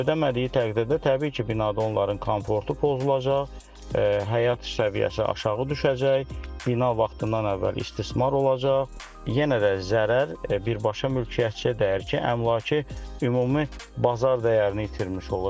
Ödəmədiyi təqdirdə təbii ki, binada onların komfortu pozulacaq, həyat səviyyəsi aşağı düşəcək, bina vaxtından əvvəl istismar olacaq, yenə də zərər birbaşa mülkiyyətçiyə dəyər ki, əmlakı ümumi bazar dəyərini itirmiş olur.